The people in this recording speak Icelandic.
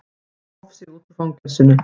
Gróf sig út úr fangelsinu